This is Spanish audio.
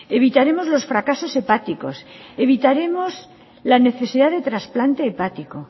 evitaremos los fracasos hepáticos evitaremos la necesidad de trasplantes hepático